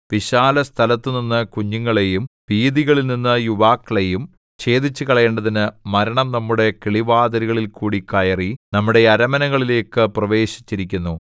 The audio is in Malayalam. വിശാലസ്ഥലത്തുനിന്നു കുഞ്ഞുങ്ങളെയും വീഥികളിൽനിന്നു യുവാക്കളെയും ഛേദിച്ചുകളയേണ്ടതിന് മരണം നമ്മുടെ കിളിവാതിലുകളിൽകൂടി കയറി നമ്മുടെ അരമനകളിലേക്കു പ്രവേശിച്ചിരിക്കുന്നു